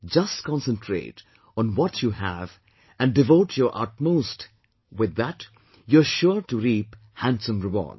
Just concentrate on what you have and devote your utmost with that you are sure to reap handsome rewards